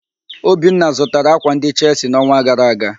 Obinna zụtara ákwà ndị Chelsi n'ọnwa gara aga.